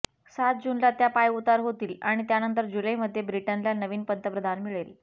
सात जूनला त्या पायउतार होतील आणि त्यानंतर जुलैमध्ये ब्रिटनला नवीन पंतप्रधान मिळेल